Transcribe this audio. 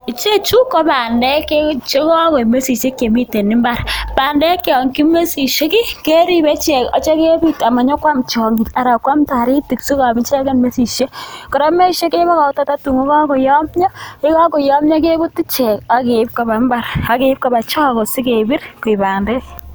Ichechu ko bandek chekokoik mesisiek en mbaar, bandek chekokoik mesisiek keribe ichek ibite amanyokwam tyong'ik anan ko toritik, kora mesisiek kebokokto tatun koyomyo ako yekokoyomyo kebute ichek asikeib koba chogo asikebir koik bandek.